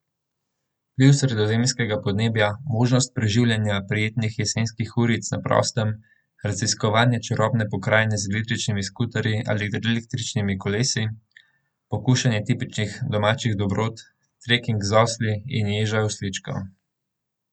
Vpliv sredozemskega podnebja, možnost preživljanja prijetnih jesenskih uric na prostem, raziskovanje čarobne pokrajine z električnimi skuterji ali električnimi kolesi, pokušnja tipičnih domačih dobrot, treking z osli in ježa osličkov.